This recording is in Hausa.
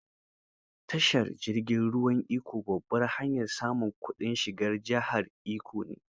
Tashar jirgin ruwan Ikko, babbar hanyar samun kudin shigar jihar Ikko ne.